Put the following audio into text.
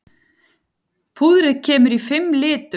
Púðrið kemur í fimm litum.